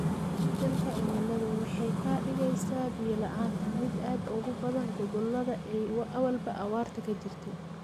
Isbeddelka cimiladu waxay ka dhigaysaa biyo la'aanta mid aad ugu badan gobollada ay awalba abaartu ka jirtay.